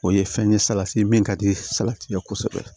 O ye fɛn ye salati ye min ka di salati ye kosɛbɛ